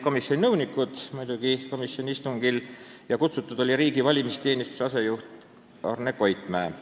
Komisjoni istungil olid muidugi ka komisjoni nõunikud ja kutsutud oli riigi valimisteenistuse asejuht Arne Koitmäe.